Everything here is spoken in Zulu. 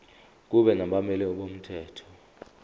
kube nabameli bomthetho